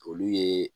Olu ye